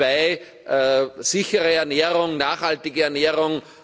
2 sichere Ernährung, nachhaltige Ernährung